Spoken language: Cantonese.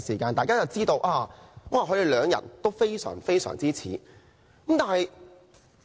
大家就知道他們兩人非常相似。